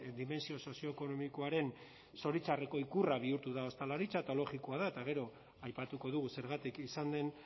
dimentsio sozioekonomikoaren zoritxarreko ikurra bihurtu da ostalaritza eta logikoa da eta gero aipatuko dugu zergatik izan den